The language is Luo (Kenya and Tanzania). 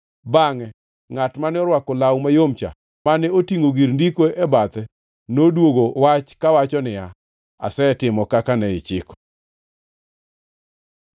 Bangʼe ngʼat mane orwako law mayom-cha mane otingʼo gir ndiko e bathe noduogo wach kawacho niya, “Asetimo kaka ne ichiko.”